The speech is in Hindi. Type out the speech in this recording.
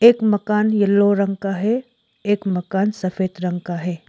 एक मकान येलो रंग का है एक मकान सफेद रंग का है।